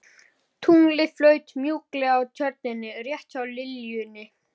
Tunglið flaut mjúklega á Tjörninni rétt hjá liljunni.